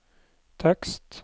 tekst